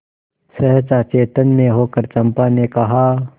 सहसा चैतन्य होकर चंपा ने कहा